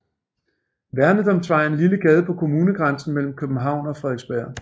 Værnedamsvej er en lille gade på kommunegrænsen mellem København og Frederiksberg